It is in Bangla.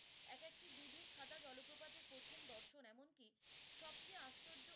এক একটি দুধের সাদা জলপ্রপাত এ প্রথম দর্শন এমন কি সব চেয়ে আশ্চর্য